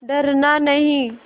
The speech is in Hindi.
डरना नहीं